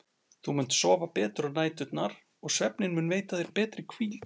Þú munt sofa betur á næturnar og svefninn mun veita þér betri hvíld.